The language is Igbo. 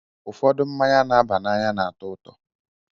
Ụfọdụ mmanya na-aba n'anya na-atọ ụtọ